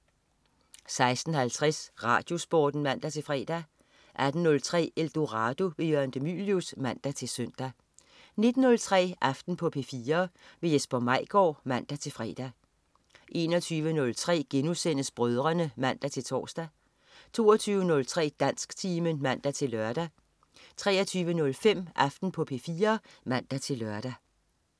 16.50 RadioSporten (man-fre) 18.03 Eldorado. Jørgen de Mylius (man-søn) 19.03 Aften på P4. Jesper Maigaard (man-fre) 21.03 Brødrene* (man-tors) 22.03 Dansktimen (man-lør) 23.05 Aften på P4 (man-lør)